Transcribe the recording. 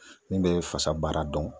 Min be fasa baara dɔn